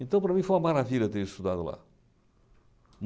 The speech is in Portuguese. Então, para mim, foi uma maravilha ter estudado lá.